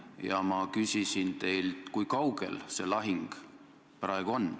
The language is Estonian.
Ja ma küsisin teilt, kui kaugel see lahing praegu on.